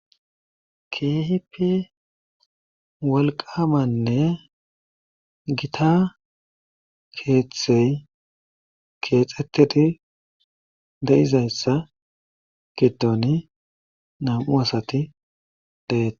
Keehippe wolqamanne gitta keeththay keexetidi de'izayssa gidon nam'u asati de'etees.